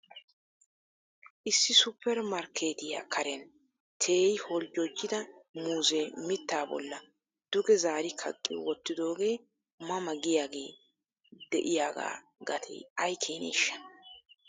Issi supper markketiya karen teeri holjjojjida muuzee mittaa bolla duge zaari kaqqi wottidoogee ma ma giyaage de'iyaaga gatee ay keeneshsha?